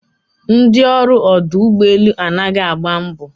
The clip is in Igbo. Ndị ọrụ ọdụ ụgbọelu anaghị agba mbọ